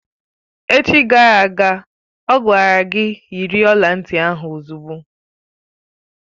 Echi gara aga, ọ gwara gị yiri ọla ntị ahụ ozugbo!